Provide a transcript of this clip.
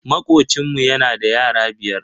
Makocinmu yana da yara biyar.